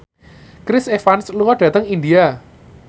Chris Evans lunga dhateng India